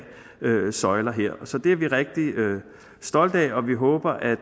søjler her så det er vi rigtig stolte af og vi håber at